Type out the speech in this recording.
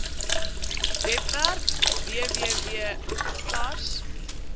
webwerf www sars